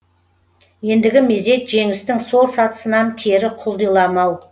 ендігі мезет жеңістің сол сатысынан кері құлдиламау